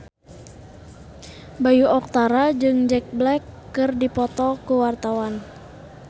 Bayu Octara jeung Jack Black keur dipoto ku wartawan